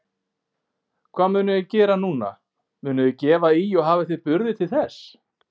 Hvað munuð þið gera núna, munuð þið gefa í og hafið þið burði til þess?